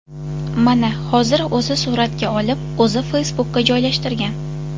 Mana hozir o‘zi suratga olib, o‘zi Facebook’ga joylashtirgan.